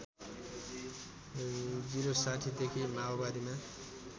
०६० देखि माओवादीमा